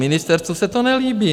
Ministerstvu se to nelíbí.